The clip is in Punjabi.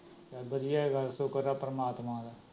ਚਲ ਵਧੀਆ ਏ ਗੱਲ ਸ਼ੁਕਰ ਐ ਪ੍ਰਮਾਤਮਾ ਦਾ